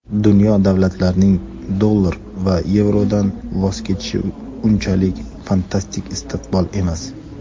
Dunyo davlatlarining dollar va yevrodan voz kechishi unchalik fantastik istiqbol emas.